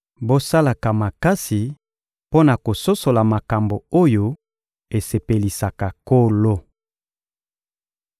Bosalaka makasi mpo na kososola makambo oyo esepelisaka Nkolo.